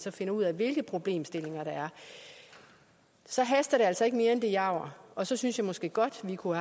at finde ud af hvilke problemstillinger der er så haster det altså ikke mere end det jager og så synes jeg måske godt vi kunne